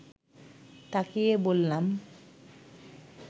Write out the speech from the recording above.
তাকিয়ে বললাম